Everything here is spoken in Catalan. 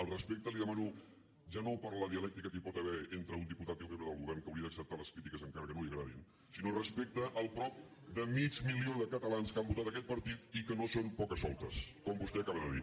el respecte li demano ja no per la dialèctica que hi pot haver entre un diputat i un membre del govern que hauria d’acceptar les crítiques encara que no li agradin sinó respecte al prop de mig milió de catalans que han votat aquest partit i que no són pocasoltes com vostè acaba de dir